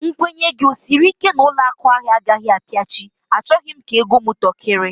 Nkwenye gị ọ sịrị ike na ụlọakụ ahụ agaghị apiachi? A chọrọ m ka ego m tọkiri